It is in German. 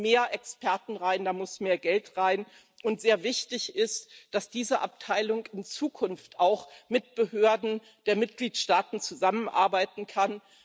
Da müssen mehr Experten rein, da muss mehr Geld rein. Und sehr wichtig ist, dass diese Abteilung in Zukunft auch mit Behörden der Mitgliedstaaten zusammenarbeiten kann.